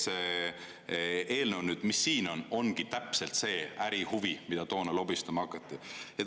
See eelnõu, mis nüüd siin on, ongi täpselt see ärihuvi, mida toona lobistama hakati.